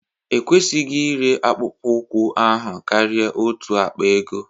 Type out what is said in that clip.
Ekwesịghị ịre akpụkpọ ụkwụ ahụ karịa otu akpa ego